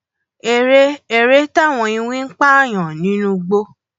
eré eré táwọn iwin ń pààyàn nínú igbó